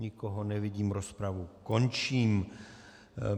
Nikoho nevidím, rozpravu končím.